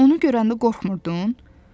Bəs onu görəndə qorxmurdun?